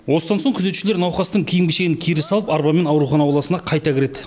осыдан соң күзетшілер науқастың киім кешегін кері салып арбамен аурухана ауласына қайта кіреді